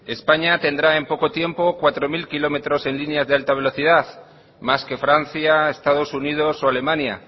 españa tendrá en poco tiempo cuatro mil kilómetros en líneas de alta velocidad más que francia estados unidos o alemania